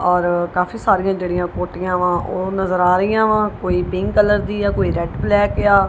ਔਰ ਕਾਫੀ ਸਾਰੀਆਂ ਜਿਹੜੀਆਂ ਕੋਠੀਆਂ ਵਾ ਉਹ ਨਜ਼ਰ ਆ ਰਹੀਆਂ ਵਾ ਕੋਈ ਪਿੰਕ ਕਲਰ ਦੀ ਜਾਂ ਕੋਈ ਰੈਡ ਬਲੈਕ ਆ।